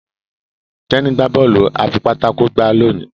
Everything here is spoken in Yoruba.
Teni gbà Bọ́ọ̀lù afipátákó gbá loni.